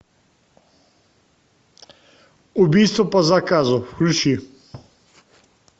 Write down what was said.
убийство по заказу включи